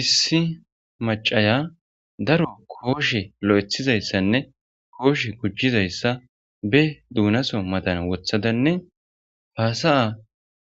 issi macaya daro kooshe lo7ethizayssanne kooshe gujizayssa be duunaso madan wothadanne haasaya